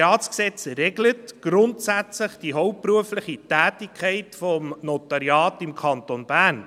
Das NG regelt grundsätzlich die hauptberufliche Tätigkeit des Notariats im Kanton Bern.